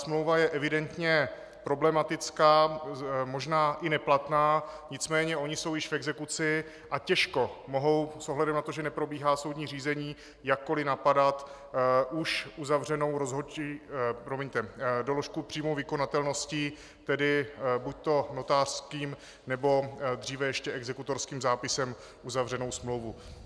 Smlouva je evidentně problematická, možná i neplatná, nicméně oni jsou již v exekuci a těžko mohou s ohledem na to, že neprobíhá soudní řízení, jakkoli napadat už uzavřenou doložku přímé vykonatelnosti, tedy buďto notářským, nebo dříve ještě exekutorským zápisem uzavřenou smlouvu.